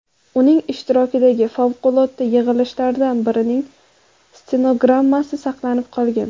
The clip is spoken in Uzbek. Uning ishtirokidagi favqulodda yig‘ilishlardan birining stenogrammasi saqlanib qolgan.